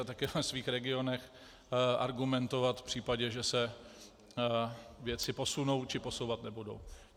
A také ve svých regionech argumentovat v případě, že se věci posunou, či posouvat nebudou.